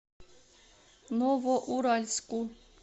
новоуральску